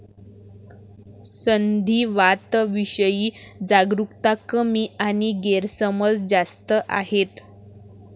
संधीवातविषयी जागरुकता कमी आणि गैरसमज जास्त आहेत.